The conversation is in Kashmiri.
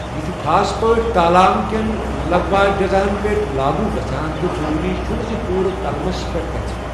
یہِ چھُ خاص پٲٹھۍ تالام کٮ۪ن لغو اجزاہَن پٮ۪ٹھ لاگوٗ گژھَان تہٕ ضروٗری چھُنہٕ زِ پوٗرٕ تلمَس پٮ۪ٹھ گژھہِ۔